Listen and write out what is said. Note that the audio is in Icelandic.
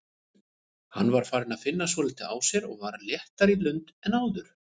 Hann var farinn að finna svolítið á sér og var léttari í lund en áður.